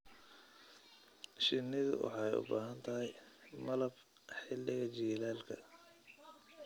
Shinnidu waxay u baahan tahay malab xilliga jiilaalka.